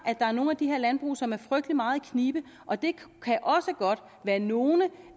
der er nogle af de her landbrug som er frygtelig meget i knibe og det kan også godt være at nogle